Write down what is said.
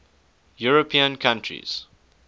european countries